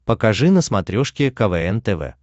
покажи на смотрешке квн тв